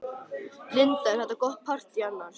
Linda: Er þetta gott partý annars?